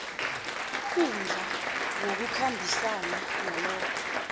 ikundla ngokukhambisana nalokho